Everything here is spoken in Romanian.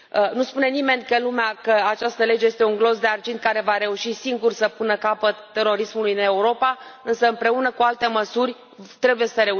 Nu spune nimeni că această lege este un glonț de argint care va reuși singur să pună capăt terorismului în Europa, însă, împreună cu alte măsuri, trebuie să